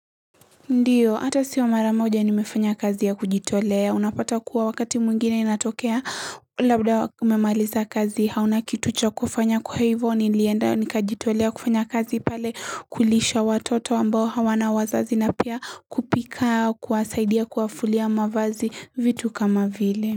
Ndiyo hata sio mara moja nimefanya kazi ya kujitolea unapata kuwa wakati mwingine inatokea labda umemaliza kazi hauna kitu cha kufanya kwa hivyo nilienda nikajitolea kufanya kazi pale kulisha watoto ambao hawana wazazi na pia kupika kuwasaidia kuwafulia mavazi vitu kama vile.